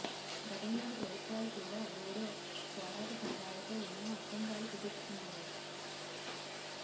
గతంలోని ప్రభుత్వాలు కూడా బోడో పోరాట సంఘాలతో ఎన్నో ఒప్పందాలు కుదుర్చుకున్నాయి